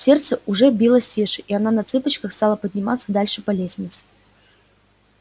сердце уже билось тише и она на цыпочках стала подниматься дальше по лестнице